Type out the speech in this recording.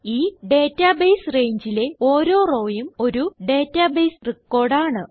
ഈ ഡേറ്റാബേസ് rangeലെ ഓരോ rowയും ഒരു ഡേറ്റാബേസ് റെക്കോർഡ് ആണ്